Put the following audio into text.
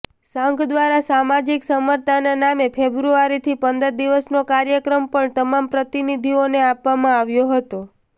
સંઘ દ્વારા સામાજિક સમરસતાના નામે ફેબ્રુઆરીથી પંદર દિવસનો કાર્યક્રમ પણ તમામ પ્રતિનિધિઓને આપવામાં આવ્યો હતો